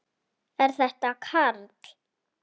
Er þetta Karl?